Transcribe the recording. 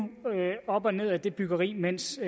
op og ned ad det byggeri mens